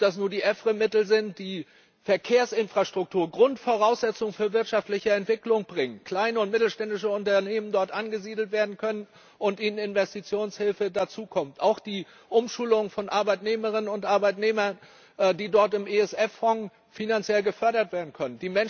Ob das nun die EFRE Mittel sind, die Verkehrsinfrastruktur Grundvoraussetzung für wirtschaftliche Entwicklung bringen, kleine oder mittelständische Unternehmen dort angesiedelt werden können und zusätzliche Investitionshilfen erhalten. Auch die Umschulung von Arbeitnehmerinnen und Arbeitnehmern, die dort im ESF Fonds finanziell gefördert werden kann.